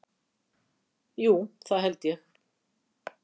Jú það held ég.